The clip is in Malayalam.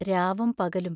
രാവും പകലും